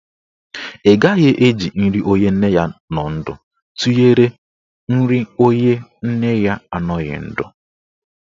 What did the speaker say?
Ị gaghị eji nri onye nne ya nọ ndụ tụnyere nri onye nne ya anọghị ndụ.